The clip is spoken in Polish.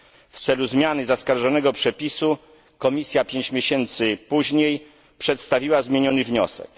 W celu zmiany zaskarżonego przepisu Komisja pięć miesięcy później przedstawiła zmieniony wniosek.